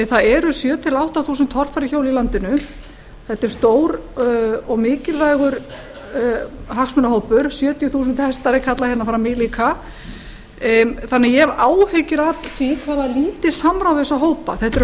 það eru sjöunda til átta þúsund torfæruhjól í landinu þetta er stór og mikilvægur hagsmunahópur sjötíu þúsund hestar er kallað hérna fram í líka þannig að ég hef áhyggjur af því hvað lítið samráð er við þessa hópa þetta eru